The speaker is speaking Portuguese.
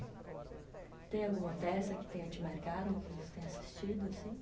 Tem alguma peça que tenha te marcado, que você tenha assistido, assim?